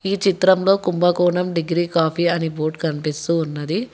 ఈ చిత్రంలో Kumbakonam degree coffee అని బోర్డ్ కనిపిస్తూ ఉన్నది.